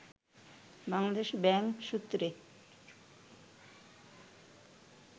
Bangladesh Bank সূত্রে